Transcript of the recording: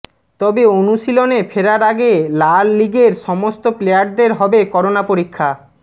তবে অনুশীলনে ফেরার আগে লা লিগৈর সমস্ত প্লেয়ারদের হবে করোনা পরীক্ষা